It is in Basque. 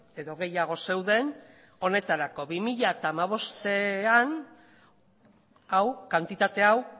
edo gehiago zeuden honetarako bi mila hamabostean hau kantitate hau